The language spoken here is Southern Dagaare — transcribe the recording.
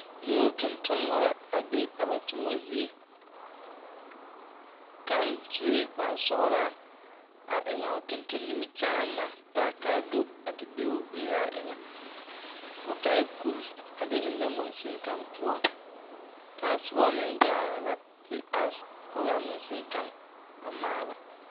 Nuuri tontonmɔ la be a ba tomɔ zie kaŋ sue kpare sɔglaa a eŋ a o tonton nimikyaan na a tage kaa do a te be o gberaa eŋa o taaɛ kuri a de ennɛ mogsuni kaŋ poɔ kaŋ soba meŋ gaa la te are kɔge a magsune kaŋa a maala.